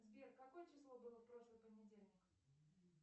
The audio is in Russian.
сбер какое число было в прошлый понедельник